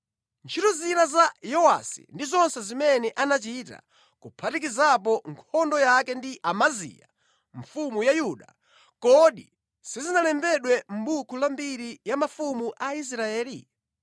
Ntchito zina za Yowasi ndi zonse zimene anachita, kuphatikizapo nkhondo yake ndi Amaziya mfumu ya Yuda, kodi sizinalembedwe mʼbuku la mbiri ya mafumu a Israeli?